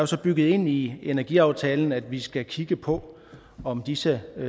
så bygget ind i energiaftalen at vi skal kigge på om disse